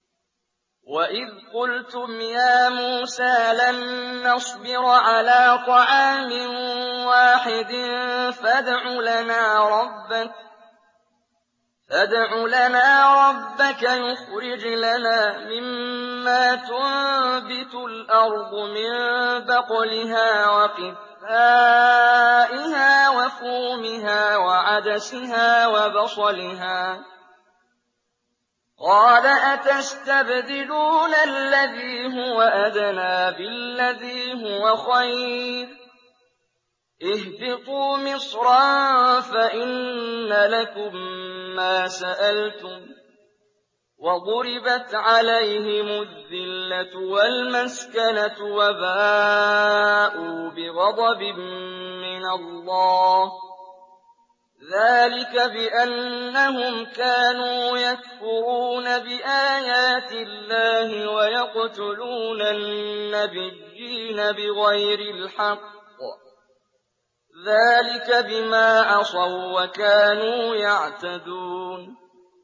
وَإِذْ قُلْتُمْ يَا مُوسَىٰ لَن نَّصْبِرَ عَلَىٰ طَعَامٍ وَاحِدٍ فَادْعُ لَنَا رَبَّكَ يُخْرِجْ لَنَا مِمَّا تُنبِتُ الْأَرْضُ مِن بَقْلِهَا وَقِثَّائِهَا وَفُومِهَا وَعَدَسِهَا وَبَصَلِهَا ۖ قَالَ أَتَسْتَبْدِلُونَ الَّذِي هُوَ أَدْنَىٰ بِالَّذِي هُوَ خَيْرٌ ۚ اهْبِطُوا مِصْرًا فَإِنَّ لَكُم مَّا سَأَلْتُمْ ۗ وَضُرِبَتْ عَلَيْهِمُ الذِّلَّةُ وَالْمَسْكَنَةُ وَبَاءُوا بِغَضَبٍ مِّنَ اللَّهِ ۗ ذَٰلِكَ بِأَنَّهُمْ كَانُوا يَكْفُرُونَ بِآيَاتِ اللَّهِ وَيَقْتُلُونَ النَّبِيِّينَ بِغَيْرِ الْحَقِّ ۗ ذَٰلِكَ بِمَا عَصَوا وَّكَانُوا يَعْتَدُونَ